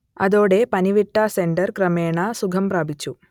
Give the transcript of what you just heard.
അതോടെ പനിവിട്ട സെനറ്റർ ക്രമേണ സുഖം പ്രാപിച്ചു